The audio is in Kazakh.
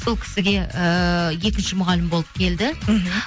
сол кісіге ііі екінші мұғалім болып келді мхм